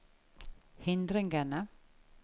hindringene